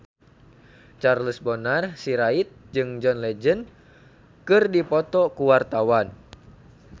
Charles Bonar Sirait jeung John Legend keur dipoto ku wartawan